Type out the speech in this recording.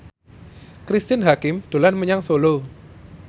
Cristine Hakim dolan menyang Solo